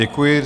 Děkuji.